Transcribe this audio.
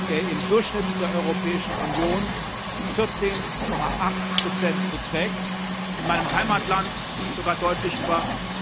der im Durchschnitt der Europäischen Union 14,8 beträgt in meinem Heimatland sogar deutlich über